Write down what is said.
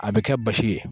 A bɛ kɛ basi ye